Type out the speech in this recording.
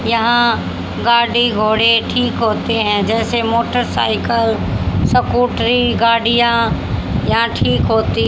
यहां गाड़ी घोड़े ठीक होते हैं जैसे मोटरसाइकल स्कूटरी गाड़ियां यहां ठीक होती--